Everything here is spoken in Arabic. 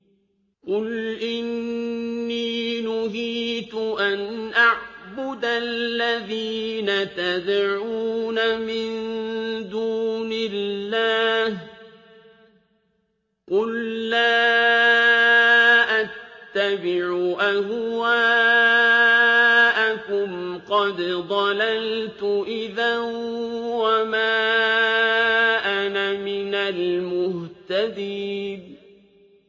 قُلْ إِنِّي نُهِيتُ أَنْ أَعْبُدَ الَّذِينَ تَدْعُونَ مِن دُونِ اللَّهِ ۚ قُل لَّا أَتَّبِعُ أَهْوَاءَكُمْ ۙ قَدْ ضَلَلْتُ إِذًا وَمَا أَنَا مِنَ الْمُهْتَدِينَ